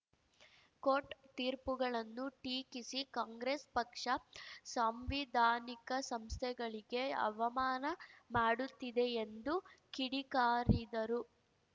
court ತೀರ್ಪುಗಳನ್ನು ಟೀಕಿಸಿ ಕಾಂಗ್ರೆಸ್‌ ಪಕ್ಷ ಸಾಂವಿಧಾನಿಕ ಸಂಸ್ಥೆಗಳಿಗೆ ಅವಮಾನ ಮಾಡುತ್ತಿದೆ ಎಂದು ಕಿಡಿಕಾರಿದರು